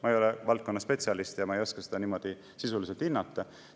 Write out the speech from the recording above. Ma ei ole valdkonna spetsialist ja ma ei oska seda niimoodi sisuliselt hinnata.